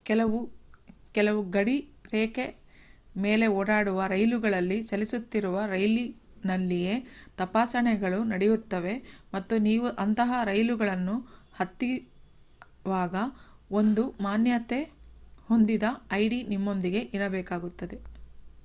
ಕೆಲವು ಗಡಿ ರೇಖೆ ಮೇಲೆ ಓಡಾಡುವ ರೈಲುಗಳಲ್ಲಿ ಚಲಿಸುತ್ತಿರುವ ರೈಲಿನಲ್ಲಿಯೇ ತಪಾಸಣೆಗಳು ನಡೆಯುತ್ತವೆ ಮತ್ತು ನೀವು ಅಂತಹ ರೈಲುಗಳನ್ನು ಹತ್ತಿವಾಗ ಒಂದು ಮಾನ್ಯತೆ ಹೊಂದಿದ ಐಡಿ ನಿಮ್ಮೊಂದಿಗೆ ಇರಬೇಕಾಗುತ್ತದೆ